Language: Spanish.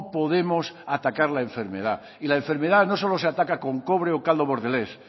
podemos atacar la enfermedad y la enfermedad no solo se ataca con cobre o caldo bordelés